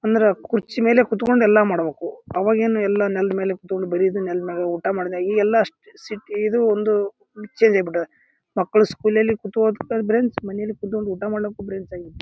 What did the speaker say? ಅಂದ್ರ ಕುರ್ಚಿ ಮೇಲೆ ಕುತ್ಕೊಂಡು ಎಲ್ಲಾ ಮಾಡ್ಬೇಕು. ಅವಾಗೆನ್ ಎಲ್ಲಾ ನೆಲದ್ ಮೇಲೆ ಕುತ್ಕೊಂಡು ಬರಿಯೋದು. ನೆಲದ್ ಮೇಲೆ ಊಟ ಮಾಡದೆ. ಇಗೆಲ್ಲಾ ಅಷ್ಟ್ ಸಿಟಿ ಇದು ಒಂದು ಚೇಂಜ್ ಆಗ್ಬಿಟ್ಟದ. ಮಕ್ಳು ಸ್ಕೂಲ್ ಅಲ್ಲಿ ಕುತ್ಕೊಂಡ್ ಓದಕ್ಕೂ ಬೆಂಚ್ ಮನೇಲಿ ಕುತ್ಕೊಂಡ್ ಊಟ ಮಾಡಲಕು ಬೆಂಚ್ ಆಗೇತಿ.